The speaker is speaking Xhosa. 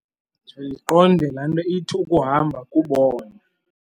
ndiqonde la nto ithi ukuhamba kukubona.